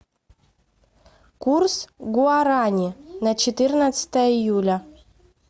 курс гуарани на четырнадцатое июля